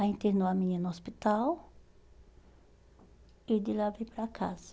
Aí internou a menina no hospital e de lá veio para casa.